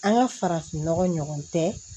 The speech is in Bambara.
An ka farafinnɔgɔ ɲɔgɔn tɛ